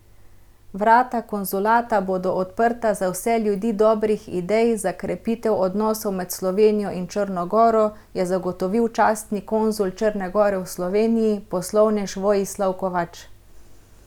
Vrata konzulata bodo odprta za vse ljudi dobrih idej za krepitev odnosov med Slovenijo in Črno goro, je zagotovil častni konzul Črne gore v Sloveniji, poslovnež Vojislav Kovač.